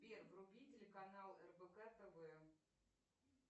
сбер вруби телеканал рбк тв